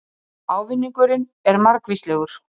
Ávinningurinn er margvíslegur